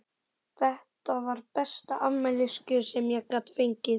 Þetta var besta afmælisgjöfin sem ég gat fengið!